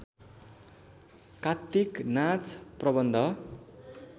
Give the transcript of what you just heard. कात्तिक नाच प्रबन्ध